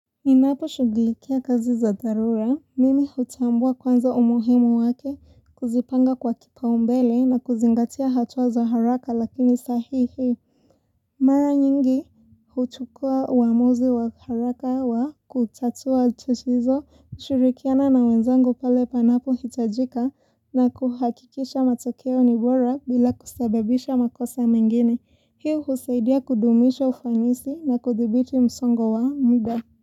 Ninaposhugulikia kazi za dharura, mimi hutambua kwanza umuhimu wake kuzipanga kwa kipaumbele na kuzingatia hatua za haraka lakini sahihi Mara nyingi huchukua uamuzi wa haraka wa kutatua tatizo kushirikiana na wenzangu pale panapohitajika na kuhakikisha matokeo ni bora bila kusababisha makosa mengine. Hi husaidia kudumisha ufanisi na kuthibiti msongo wa muda.